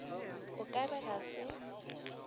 o ka re ga se